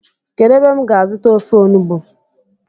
Kedu ebe m ga azuta ofe onugbu?